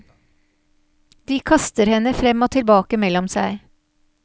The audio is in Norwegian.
De kaster henne frem og tilbake mellom seg.